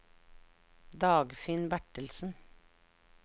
Dagfinn Bertelsen